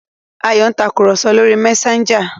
Ayò ń Tàkùrọ̀sọ lọ rí Messager.